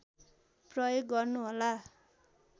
प्रयोग गर्नुहोला